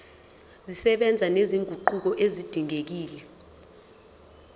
zisebenza nezinguquko ezidingekile